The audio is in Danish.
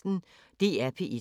DR P1